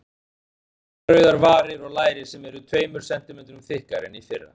Með mjúkar rauðar varir og læri sem eru tveimur sentímetrum þykkari en í fyrra.